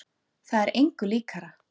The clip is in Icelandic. Það er engu líkara.